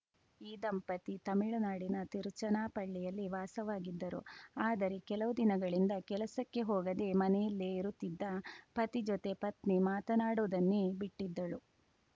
ಈ ದಂಪತಿ ತಮಿಳುನಾಡಿನ ತಿರುಚನಾಪಳ್ಳಿಯಲ್ಲಿ ವಾಸವಾಗಿದ್ದರು ಆದರೆ ಕೆಲವು ದಿನಗಳಿಂದ ಕೆಲಸಕ್ಕೆ ಹೋಗದೇ ಮನೆಲ್ಲೇ ಇರುತ್ತಿದ್ದ ಪತಿ ಜೊತೆ ಪತ್ನಿ ಮಾತನಾಡುವುದನ್ನೇ ಬಿಟ್ಟಿದ್ದಳು